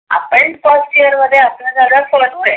आपण first year मध्ये असने हे must आहे.